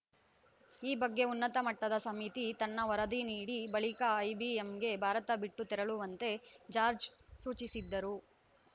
ಈ ಬಗ್ಗೆ ಉನ್ನತ ಮಟ್ಟದ ಸಮಿತಿ ತನ್ನ ವರದಿ ನೀಡಿ ಬಳಿಕ ಐಬಿಎಂಗೆ ಭಾರತ ಬಿಟ್ಟು ತೆರಳುವಂತೆ ಜಾರ್ಜ್ ಸೂಚಿಸಿದ್ದರು